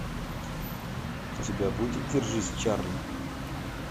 у тебя будет держись чарли